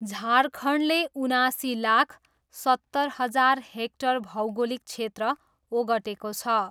झारखण्डले उनासी लाख सत्तर हजार हेक्टर भौगोलिक क्षेत्र ओगटेको छ।